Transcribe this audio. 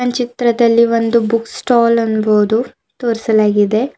ಚಿತ್ರದಲ್ಲಿ ಒಂದು book stall ಅನ್ಬೋದು ತೋರಿಸಲಾಗಿದೆ.